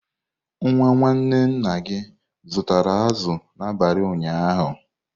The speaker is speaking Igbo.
Nwa nwanne nna gị zụtara azụ̀ n'abalị ụnyaahụ?